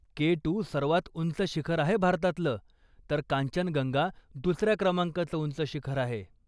केटू सर्वात उंच शिखर आहे भारतातलं तर कांचनगंगा दुसऱ्या क्रमांकाच उंच शिखर आहे.